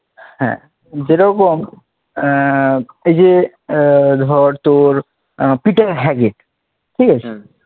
হ্যাঁ যেরকম আহ এই যে আহ ধর তোর আহ পিটার হ্যাগিড ঠিক আছে